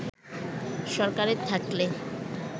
সরকারে থাকলে